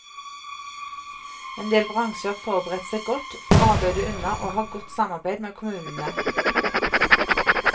Endel bransjer har forberedt seg godt, får arbeidet unna, og har godt samarbeid med kommunene.